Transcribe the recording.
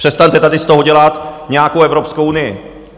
Přestaňte tady z toho dělat nějakou Evropskou unii!